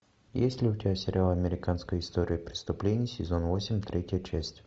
есть ли у тебя сериал американская история преступлений сезон восемь третья часть